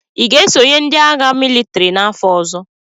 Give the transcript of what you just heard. Ị ga-esonye ndị agha mịlịtrị n'afọ ọzọ?